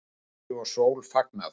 Sumri og sól fagnað